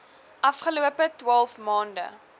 afgelope twaalf maande